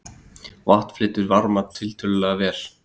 Vatn flytur varma tiltölulega vel.